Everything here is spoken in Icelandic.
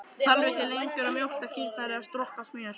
Það þarf ekki lengur að mjólka kýrnar eða strokka smjör!